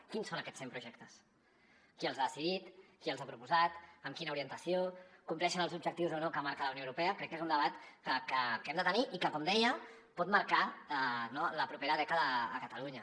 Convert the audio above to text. quins són aquests cent projectes qui els ha decidit qui els ha proposat amb quina orientació compleixen els objectius o no que marca la unió europea crec que és un debat que hem de tenir i que com deia pot marcar la propera dècada a catalunya